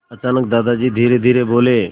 अचानक दादाजी धीरेधीरे बोले